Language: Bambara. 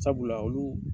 Sabula olu